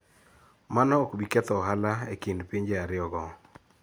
Mano ok bi ketho ohala e kind pinje ariyogo.